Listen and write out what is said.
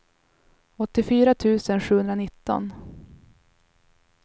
åttiofyra tusen sjuhundranitton